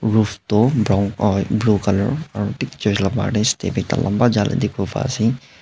roof toh brown ah blue color aro dik church la bahar tae step ekta lamba jala dikhiwo paase.